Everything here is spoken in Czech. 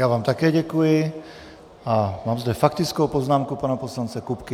Já vám také děkuji a mám zde faktickou poznámku pana poslance Kupky.